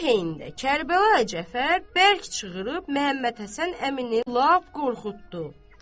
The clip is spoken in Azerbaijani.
Bu heynədə Kərbəlayı Cəfər bərk çığırıb Məmmədhəsən əmini lap qorxutdu.